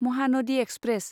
Mahanadi express